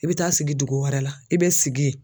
I bɛ taa sigi dugu wɛrɛ la, i bɛ sigi yen